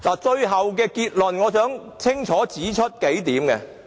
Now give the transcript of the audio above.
最後，我想清楚總結幾點。